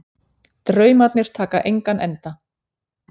Draumarnir taka engan enda